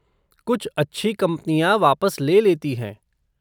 कुछ अच्छी कंपनियाँ वापस ले लेती हैं।